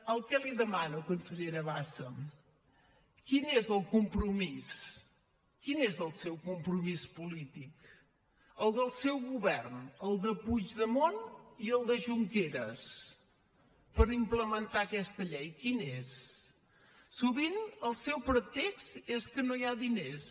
el que li demano consellera bassa quin és el compromís quin és el seu compromís polític el del seu govern el de puigdemont i el de junqueras per implementar aquesta llei quin és sovint el seu pretext és que no hi ha diners